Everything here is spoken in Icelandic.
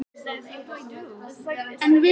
En loksins hafði hann eitthvað að segja.